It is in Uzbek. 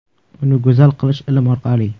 Uni go‘zal qilish ilm orqali.